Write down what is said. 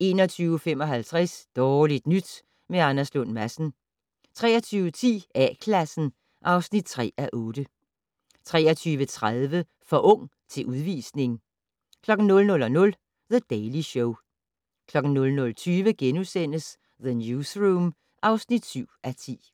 21:55: Dårligt nyt med Anders Lund Madsen 23:10: A-Klassen (3:8) 23:30: For ung til udvisning 00:00: The Daily Show 00:20: The Newsroom (7:10)*